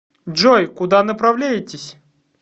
джой куда направляетесь